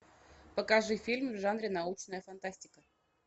покажи фильм в жанре научная фантастика